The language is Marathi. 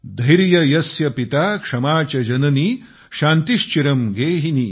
धैर्य यस्य पिता क्षमा च जननी शान्तिश्चिरं गेहिनी